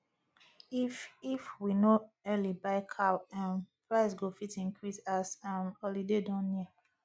if if we no early buy cow um price go fit increase as um holiday don near